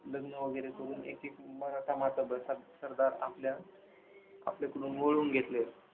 लग्न वैगेरे करून एकेक मराठा मातबर सर सरदार आपल्या आपल्याकडे वळवून घेतले.